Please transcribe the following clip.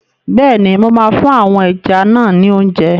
Bẹ́ẹ̀ni, mo máa fún àwọn ẹja náà ni óúnjẹ.